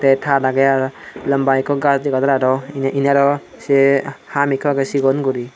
tey tar agey aro lamba ekko gach debaro indiaro ye ham ikko agey sigon guri.